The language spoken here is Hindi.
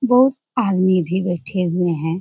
बहुत आदमी भी बैठे हुए हैं।